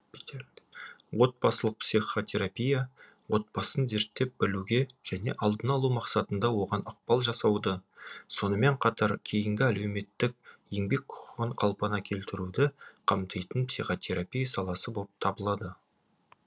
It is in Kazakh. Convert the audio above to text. отбасылық психотерапия отбасын зерттеп білуге және алдын алу мақсатында оған ықпал жасауды сонымен қатар кейінгі әлеуметтік еңбек құқығын қалпына келтіруді қамтитын психотерапия саласы боп табылады